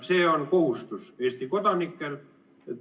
See on Eesti kodanike kohustus.